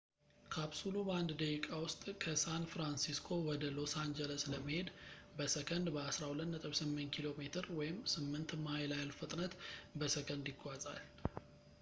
ካፕሱሉ በአንድ ደቂቃ ውስጥ ከሳን ፍራንሲስኮ ወደ ሎስ አንጀለስ ለመሄድ በሰከንድ በ 12.8 ኪ.ሜ ወይም 8 ማይል ያህል ፍጥነት በሰከንድ ይጓዛል